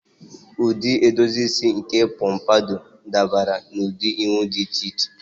Ụdị edozi isi nke pompadour dabara n'ụdị ihu dị iche iche.